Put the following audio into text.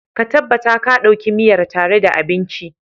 ka tabbata ka Dauki miyar tare da abinci